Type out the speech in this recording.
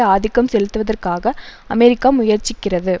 ஆதிக்கம் செலுத்தவதற்காக அமெரிக்கா முயற்சிக்கிறது